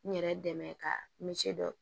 N yɛrɛ dɛmɛ ka misɛn dɔ